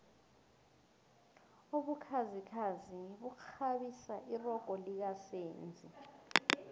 ubukhazikhazi bukghabisa irogo lika senzi